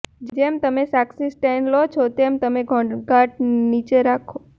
જેમ તમે સાક્ષી સ્ટેન્ડ લો છો તેમ ઘોંઘાટ નીચે રાખો